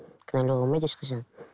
кінәлауға болмайды ешқашан